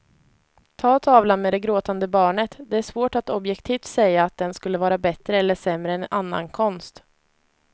Ta tavlan med det gråtande barnet, det är svårt att objektivt säga att den skulle vara bättre eller sämre än annan konst.